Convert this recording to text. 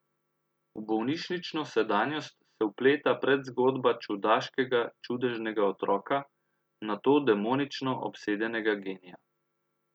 V bolnišnično sedanjost se vpleta predzgodba čudaškega čudežnega otroka, nato demonično obsedenega genija.